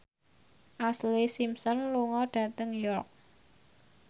Ashlee Simpson lunga dhateng York